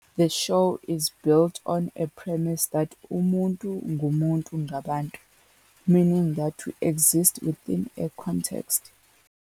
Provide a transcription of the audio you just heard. The show is built on a premise that " umuntu "ngumuntu ngabantu" " meaning that we exist within a context.